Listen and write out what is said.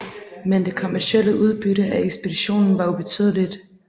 Men det kommercielle udbytte af ekspeditionen var ubetydeligt